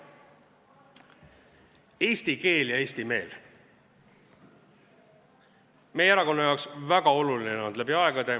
Eesti keel ja eesti meel on olnud meie erakonna jaoks läbi aegade väga oluline.